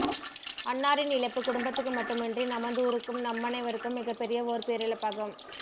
அன்னாரின் இழப்பு குடும்பத்துக்கு மட்டுமின்றி நமதூருக்கும் நம்மனைவருக்கும் மிகப்பெரிய ஓர் பேரிழப்பாகும்